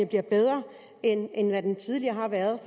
bliver bedre end end den tidligere har været